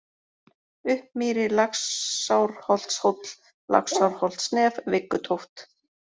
Uppmýri, Laxárholtshóll, Laxárholtsnef, Viggutóft